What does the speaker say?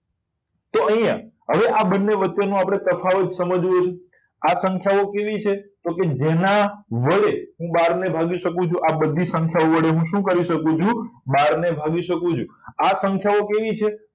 અહીંયા આ બંને વચ્ચેનો આપણે તફાવત સમજીએ આ સંખ્યાઓ કેવી છે જો કે જેના વડે હું બાર ને ભાગી શકું છું આ બધી સંખ્યા વડે હું શું કરી શકું છું બાર ભાગી શકું છું આ સંખ્યાઓ કેવી છે